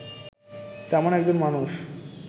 তেমন একজন মানুষ